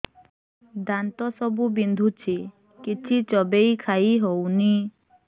ଦାନ୍ତ ସବୁ ବିନ୍ଧୁଛି କିଛି ଚୋବେଇ ଖାଇ ହଉନି